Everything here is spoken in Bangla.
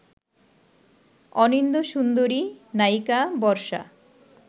অনিন্দ্যসুন্দরী নায়িকা বর্ষা